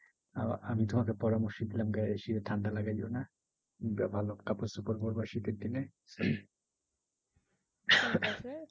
আমি তোমাকে পরামর্শ দিলাম গায়ে বেশি ঠান্ডা লাগিও না। কাপড়চোপড় পড়বা শীতের দিনের।